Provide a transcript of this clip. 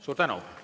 Suur tänu!